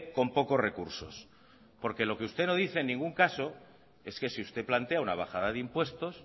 con pocos recursos porque lo que usted no dice en ningún caso es que si usted plantea una bajada de impuestos